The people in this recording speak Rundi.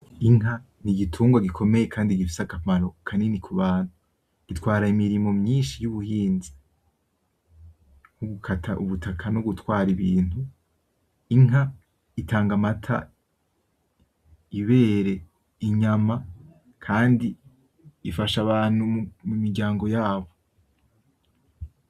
Inka n'igitungwa gikomeye Kandi gifise akamaro kanini kubantu gitwara Imirima myinshi y'ubuhinzi gukata ubutaka no gutwara Ibintu. Inka itanga amata, ibere, inyuma, ufasha Abantu mumiryango yabo.